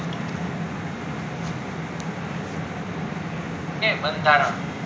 okay બંધારણ